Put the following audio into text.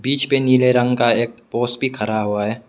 बीच पे एक नीले रंग का पोस भी खरा हुआ है।